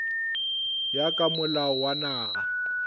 ya ka molao wa naga